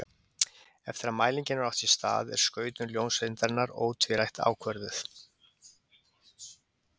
Eftir að mælingin hefur átt sér stað er skautun ljóseindarinnar ótvírætt ákvörðuð.